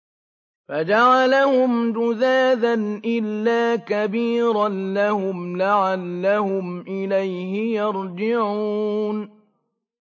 فَجَعَلَهُمْ جُذَاذًا إِلَّا كَبِيرًا لَّهُمْ لَعَلَّهُمْ إِلَيْهِ يَرْجِعُونَ